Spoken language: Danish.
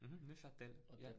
Mh Neuchâtel ja